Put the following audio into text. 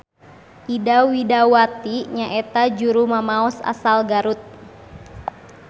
Ida Widawati nyaeta juru mamaos asal Garut.